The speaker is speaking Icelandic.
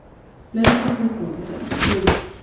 Hlaupið til góðs